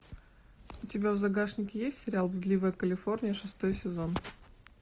у тебя в загашнике есть сериал блудливая калифорния шестой сезон